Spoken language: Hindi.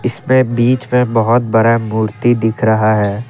इसमे बीच में बहुत बड़ा मूर्ति दिख रहा है।